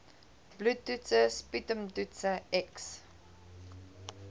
bloedtoetse sputumtoetse x